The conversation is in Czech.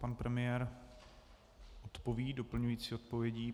Pan premiér odpoví doplňující odpovědí.